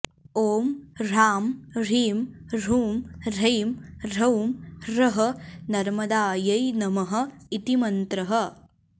ॐ ह्रां ह्रीं ह्रूँ ह्रैं ह्रौं ह्रः नर्मदायै नमः इति मन्त्रः